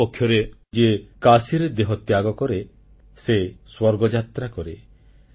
ଅପରପକ୍ଷରେ ଯିଏ କାଶୀରେ ଦେହତ୍ୟାଗ କରେ ସେ ସ୍ୱର୍ଗଯାତ୍ରା କରେ